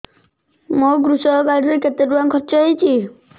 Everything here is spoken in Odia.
ମୋ କୃଷକ କାର୍ଡ ରେ କେତେ ଟଙ୍କା ଖର୍ଚ୍ଚ ହେଇଚି